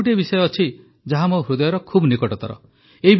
ଆଉ ଗୋଟିଏ ବିଷୟ ଅଛି ଯାହା ମୋ ହୃଦୟର ଖୁବ୍ ନିକଟତର